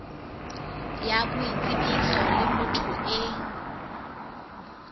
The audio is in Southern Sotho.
ya boitsebiso le motho e